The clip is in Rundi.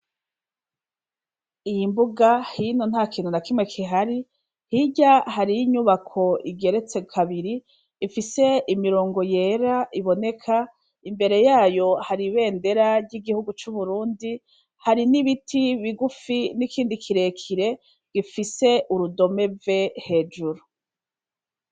iyi mbuga hino nta kintu na kimwe kihari hirya hari y'inyubako igeretse kabiri ifise imirongo yera iboneka imbere yayo hari ibendera ry'igihugu c'uburundi hari n'ibiti bigufi n'ikindi kirekire gifise urudome V hejuru